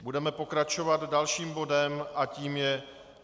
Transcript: Budeme pokračovat dalším bodem a tím je